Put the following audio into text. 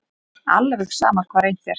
Alveg sama hvað reynt er.